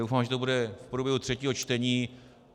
Doufám, že to bude v průběhu třetího čtení.